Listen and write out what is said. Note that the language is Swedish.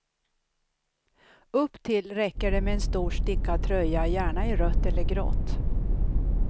Upptill räcker det med en stor stickad tröja, gärna i rött eller grått.